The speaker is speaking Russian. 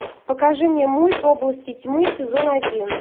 покажи мне мульт области тьмы сезон один